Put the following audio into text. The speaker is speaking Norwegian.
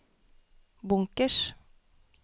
bunkers